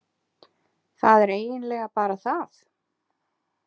Það er eiginlega bara það.